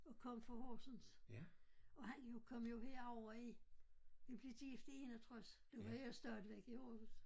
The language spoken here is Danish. Og kom fra Horsens og han jo kom jo herover i vi blev gift i 61 der var jeg stadigvæk i Aarhus